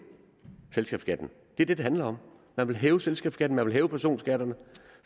selskabsskatten det er det det handler om man vil hæve selskabsskatten man vil hæve personskatterne